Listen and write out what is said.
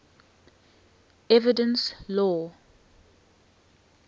evidence law